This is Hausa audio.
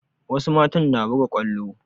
Wasu matan na buga kwallo